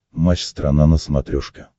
матч страна на смотрешке